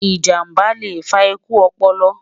ìjàmbá lẹ fà ikú ọpọlọ